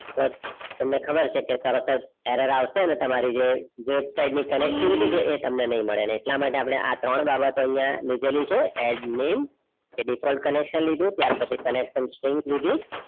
પર તમને ખબર છે કે તરતજ એરર અવસે ને તમરી જે વેબસાઇટ ની connectivity છે એ તમને નહીં મેડ એટલા માટે અપડે આ ત્રણ બાબતો અપડે આઇયાહ લીધાલે છે add name એ different connection લીધું ત્યાર પછી connection string લીધી